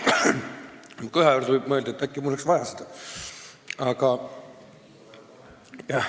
Minu köha kuulates võib mõelda, et äkki mul oleks seda vaja.